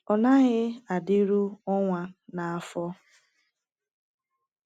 Ọ naghị adịru ọnwa na afọ.